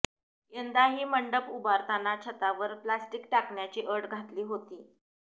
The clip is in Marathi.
यंदाही मंडप उभारताना छतावर प्लास्टिक टाकण्याची अट घातली होती